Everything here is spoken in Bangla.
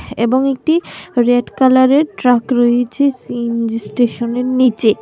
এবং একটি রেড কালারের ট্রাক রইছে সি_এন_জি স্টেশনের নীচে।